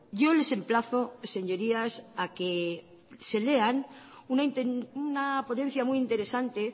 yo les emplazo señorías a que se lean una ponencia muy interesante